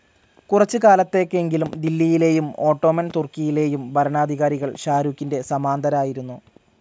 കുറച്ചു കാലത്തേക്കെങ്കിലും ദില്ലിയിലേയും ഓട്ടോമൻസ്‌ തുർക്കിയിലേയും ഭരണാധികാരികൾ ഷാഹ്‌ രൂഖിന്റെ സാമന്തരായിരുന്നു.